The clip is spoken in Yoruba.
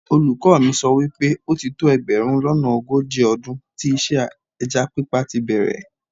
Olùkọ́ mi sọ wípé ó ti tó ẹgbẹ̀rún lọ́nà ogójì ọdún tí iṣẹ́ ẹja pípa tíi bẹ̀rẹ̀